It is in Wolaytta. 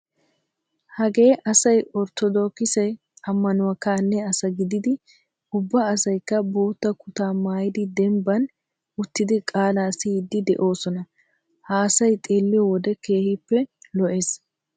Hagee asay orttodokise ammanuwa kaalliya asaa gididi ubba asaykka bootta kutaa maayidi dembban uttidi qaalaa siyiiddi de'oosona. Ha asay xeelliyo wode keehippe lo"ees.